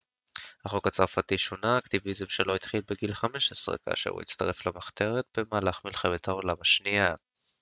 החוק הצרפתי שונה האקטיביזם שלו התחיל בגיל 15 כאשר הוא הצטרף למחתרת במהלך מלחמת העולם השנייה